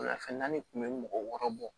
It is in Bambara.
Wulafɛ naani kun bɛ mɔgɔ wɔɔrɔ bɔ